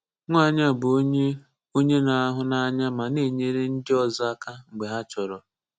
Nwanyị a bụ onye onye na-ahụnanya ma na-enyere ndị ọzọ aka mgbe ha chọrọ.